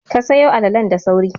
Ka sayo alalalen da sauri!